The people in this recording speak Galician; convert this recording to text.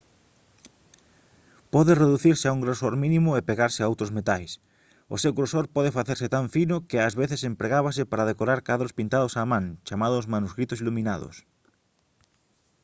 pode reducirse a un grosor mínimo e pegarse a outros metais. o seu grosor pode facerse tan fino que ás veces empregábase para decorar cadros pintados á man chamados «manuscritos iluminados»